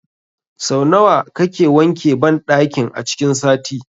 Sau nawa kake wanke banɗakin a cikin sati?